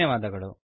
ಧನ್ಯವಾದಗಳು